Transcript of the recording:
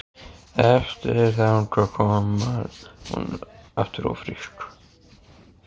Eftir að þangað kom varð hún aftur ófrísk.